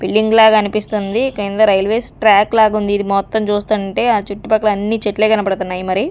Building లాగా అనిపిస్తుంది కింద రైల్వేస్ ట్రాక్ లాగుంది. ఇది మొత్తం చూస్తుంటే ఆ చుట్టు పక్కల అన్నీ చెట్లే కనపడతన్నాయి మరి.